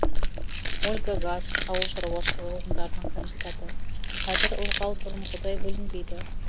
ольга гаас ауыл шаруашылығы ғылымдарының кандидаты қазір ылғал бұрынғыдай бөлінбейді